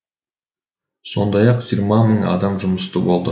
сондай ақ жиырма мың адам жұмысты болды